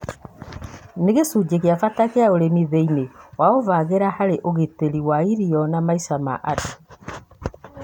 Nĩ gĩcunjĩ gĩa bata kĩa ũrĩmi thĩ-inĩ, ũgĩvangĩra harĩ ũgitĩri wa irio na maica ma andũ.